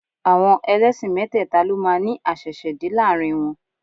Àwọn ẹlẹ́sìn mẹ́tẹ́ẹ̀ta ló máa ní àṣẹ̀ṣẹ̀dé láàrin wọn